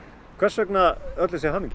hvers vegna öll þessi hamingja